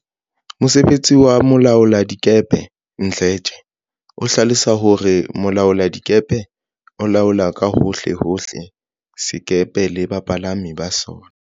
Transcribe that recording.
Mosebetsi wa molaoladikepe Mdletshe o hlalosa hore Mo laoladikepe o laola ka hohle hohle sekepe le bapalami ba sona.